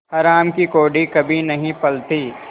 हराम की कौड़ी कभी नहीं फलती